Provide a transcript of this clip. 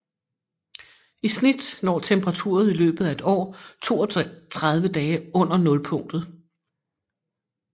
I snit når temperaturen i løbet af et år 32 dage under nulpunktet